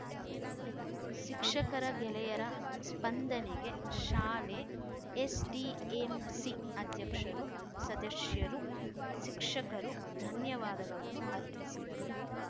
ಶಿಕ್ಷಕರ ಗೆಳೆಯರ ಸ್ಪಂದನೆಗೆ ಶಾಲೆ ಎಸ್‌ಡಿಎಂಸಿ ಅಧ್ಯಕ್ಷರು ಸದಸ್ಯರು ಶಿಕ್ಷಕರು ಧನ್ಯವಾದಗಳನ್ನು ಅರ್ಪಿಸಿದರು